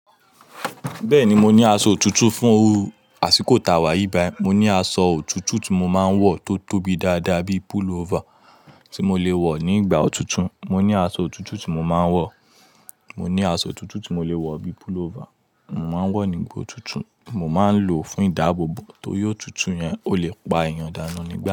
Bẹ́ẹ̀ni, mo ní aṣọ otutu fún iru àsìkò ta wà yíi bayi. Mo ni aṣọ otutu ti mo máa ń wọ tó tóbi dáadáa bíi púlóvà tí mo lè wọ̀ ní ìgbà òtútù. Mò ní aṣọ otutu tí mo máa ń wọ̀. Mò ní aṣọ otutu tí mò lè wọ̀ bíi pull over. Mo máa ń wọ̀ ní ìgbà òtútù. Mò máa ń lò ó fún ìdáàbòbò. Torí otutu yẹn o lè pa èèyàn danu nígbà.